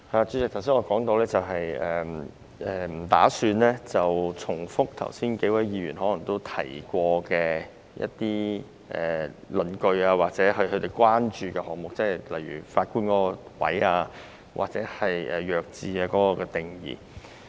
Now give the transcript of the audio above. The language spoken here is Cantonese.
主席，我剛才提到我不打算重複多位議員提過的論據或他們的關注，例如有關法官的部分或"弱智"的定義。